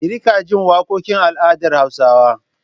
Ki riƙa jin waƙokin al'adar Hausawa!